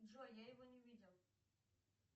джой я его не видел